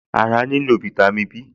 Ará nílò fáítámì Bí